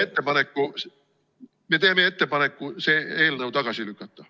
Ja me teeme ettepaneku see eelnõu tagasi lükata.